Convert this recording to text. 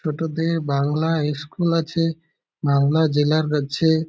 ছোটদের বাংলা ইস্কুল আছে বাংলা জেলার আছে।